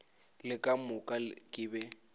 le ka moka ke be